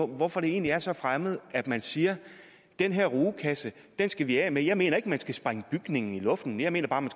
hvorfor det egentlig er så fremmed at man siger at den her rugekasse skal vi af med jeg mener ikke at man skal sprænge bygningen i luften jeg mener